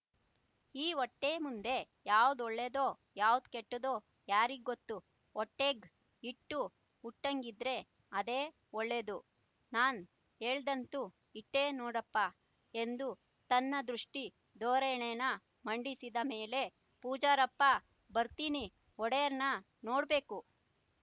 ಈ ವೊಟ್ಟೆ ಮುಂದೆ ಯಾವ್ದು ಒಳ್ಳೇದೊ ಯಾವ್ದು ಕೆಟ್ಟುದ್ದೊ ಯಾರಿಗ್ಗೊತ್ತು ವೊಟ್ಯೇಗ್ ಇಟ್ಟು ಉಟ್ಟಂಗಿದ್ರೆ ಅದೇ ಒಳ್ಳೇದು ನಾನ್ ಯೇಳಾದಂತೂ ಈಟೆ ನೋಡಪ್ಪ ಎಂದು ತನ್ನ ದೃಷ್ಟಿ ಧೋರಣೇನ ಮಂಡಿಸಿದ ಮೇಲೆ ಪೂಜಾರಪ್ಪ ಬತ್ತೀನಿ ಒಡೇರ್ನ ನೋಡ್ಬೇಕು